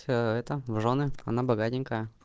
всё это в жёны она богатенькая